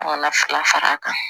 Kana fara a kan